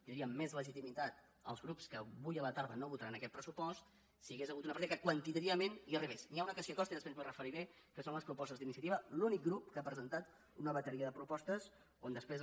tindrien més legitimitat els grups que avui a la tarda no votaran aquest pressuposts si hi hagués hagut una partida que quantitativament hi arribés ni ha una que s’hi acosta i després m’hi referiré que són les propostes d’iniciativa l’únic grup que ha presentat una bateria de propostes on després